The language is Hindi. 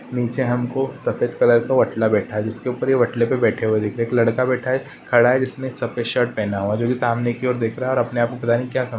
नीचे हमको सफ़ेद कलर का वटला बैठा है जिसके ऊपर यह वटले पे बैठे हुए दिख रहे है एक लड़का बैठा है खड़ा है जिसने सफेद शर्ट पहना हुआ है जोकि सामने की ओर दिख रहा है और अपने आप को पता नहीं क्या समझ --